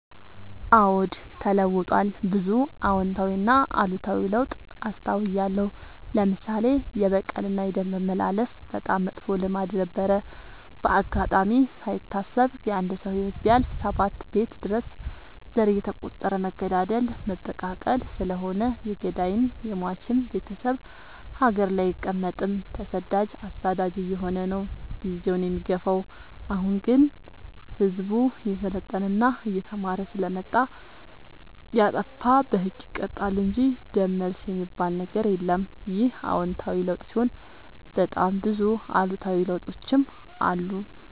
አዎድ ተለውጧል ብዙ አዎታዊ እና አሉታዊ ለውጥ አስታውያለሁ። ለምሳሌ፦ የበቀል እና የደም መመላለስ በጣም መጥፎ ልማድ ነበረ። በአጋጣሚ ካይታሰብ የአንድ ሰው ህይወት ቢያልፍ ሰባት ቤት ድረስ ዘር እየተ ቆጠረ መገዳደል መበቃቀል ስለሆነ የገዳይም የሞችም ቤቴሰብ ሀገር ላይ አይቀ መጥም ተሰዳጅ አሳዳጅ አየሆነ ነው። ጊዜውን የሚገፋው። አሁን አሁን ግን ህዝቡ እየሰለጠና እየተማረ ስለመጣ። የጣፋ በህግ ይቀጣል እንጂ ደም መልስ የሚበል ነገር የለም ይህ አዎታዊ ለውጥ ሲሆን በጣም ብዙ አሉታዊ ለውጦችም አሉ።